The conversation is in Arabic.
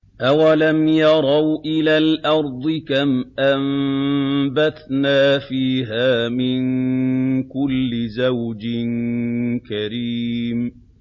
أَوَلَمْ يَرَوْا إِلَى الْأَرْضِ كَمْ أَنبَتْنَا فِيهَا مِن كُلِّ زَوْجٍ كَرِيمٍ